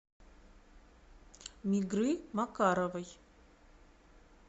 мигры макаровой